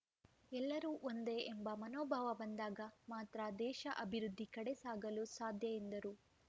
ಎಲ್ಲರೂ ಒಂದೇ ಎಂಬ ಮನೋಭಾವ ಬಂದಾಗ ಮಾತ್ರ ದೇಶ ಅಭಿವೃದ್ಧಿ ಕಡೆ ಸಾಗಲು ಸಾಧ್ಯ ಎಂದರು